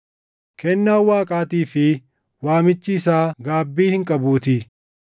kennaan Waaqaatii fi waamichi isaa gaabbii hin qabuutii.